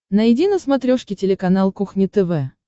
найди на смотрешке телеканал кухня тв